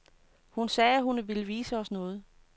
Hun sagde, at hun ville vise os noget.